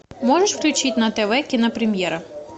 можешь включить на тв кинопремьера